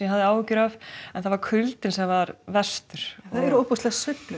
hafði áhyggjur af en það var kuldinn sem var verstur það eru ótrúlegar sveiflur